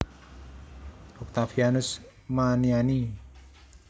Oktavianus Maniani